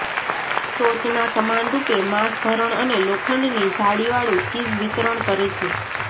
ટોચના સમાનરૂપે માંસ ભરણ અને લોખંડની જાળીવાળું ચીઝ વિતરણ કરે છે